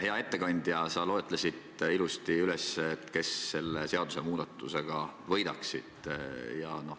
Hea ettekandja, sa loetlesid ilusasti, kes selle seadusemuudatusega võidaksid.